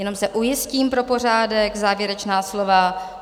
Jenom se ujistím pro pořádek, závěrečná slova.